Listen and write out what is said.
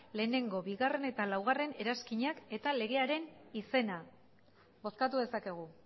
bat bigarrena eta lau eranskinak eta legearen izena bozkatu dezakegu